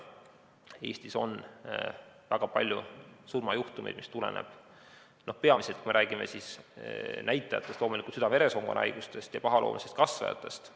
Eestis on väga palju surmajuhtumeid, mis tulenevad peamiselt, kui me räägime näitajatest, südame-veresoonkonnahaigustest ja pahaloomulistest kasvajatest.